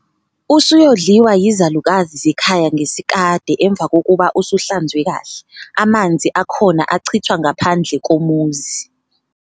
Usuyodliwa yizalukazi zekhaya ngesikade emva kokuba usuhlanzwe kahle, amanzi akhona achithwa ngaphandle komuzi.